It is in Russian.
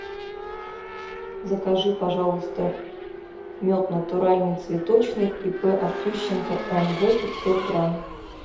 закажи пожалуйста мед натуральный цветочный ип артющенко нв пятьсот грамм